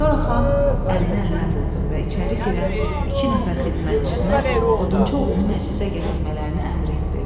Sonra xan əlinə əlinə vurdu və içəri girən iki nəfər xidmətçisinə odunçu oğlunu məclisə gətirmələrini əmr etdi.